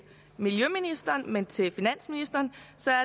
miljøministeren men til finansministeren